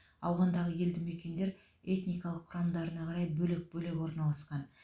ауғандағы елді мекендер этникалық құрамдарына қарай бөлек бөлек орналасқан